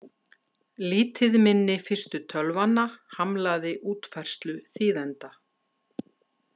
Lítið minni fyrstu tölvanna hamlaði útfærslu þýðenda.